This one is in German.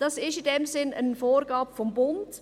Das ist in diesem Sinn eine Vorgabe des Bundes.